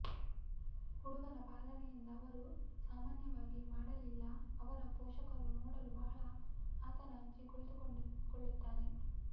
ಹುಡುಗನ ಪಾಲನೆಯಿಂದ ಅವರು ಸಾಮಾನ್ಯವಾಗಿ ಮಾಡಲಿಲ್ಲ ಅವರ ಪೋಷಕರು ನೋಡಲು ಬಹಳ ಆತನ ಅಜ್ಜಿ ಕುಳಿತುಕೊಳ್ಳುತ್ತಾನೆ